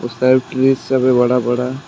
उस side trees सब है बड़ा बड़ा।